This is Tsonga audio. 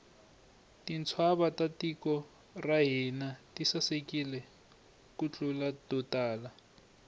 tintshava ta tiko ra hina ti sasekile ku tlula to tala